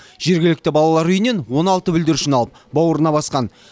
жергілікті балалар үйінен он алты бүлдіршін алып бауырына басқан